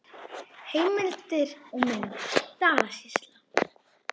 Heimildir og mynd: Dalasýsla.